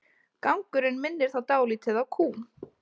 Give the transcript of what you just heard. Gangurinn minnir þá dálítið á kú.